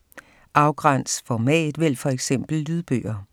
Afgræns format: vælg for eksempel lydbøger